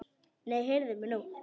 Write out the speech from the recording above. Nei, heyrðu mig nú!